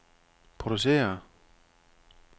produceret